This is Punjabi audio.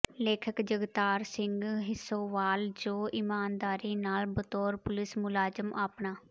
ਲੇਖਕ ਜਗਤਾਰ ਸਿੰਘ ਹਿੱਸੋਵਾਲ ਜੋ ਇਮਾਨਦਾਰੀ ਨਾਲ ਬਤੌਰ ਪੁਲਿਸ ਮੁਲਾਜ਼ਮ ਆਪਣਾ